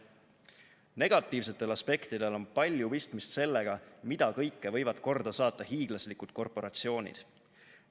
Negatiivsetel aspektidel on palju pistmist sellega, mida kõike võivad korda saata hiiglaslikud korporatsioonid.